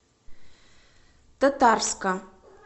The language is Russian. татарска